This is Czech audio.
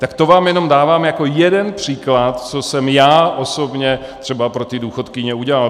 Tak to vám jenom dávám jako jeden příklad, co jsem já osobně třeba pro ty důchodkyně udělal.